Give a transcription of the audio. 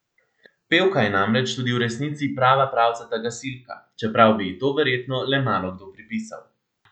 Pevka je namreč tudi v resnici prava pravcata gasilka, čeprav bi ji to verjetno le malokdo pripisal.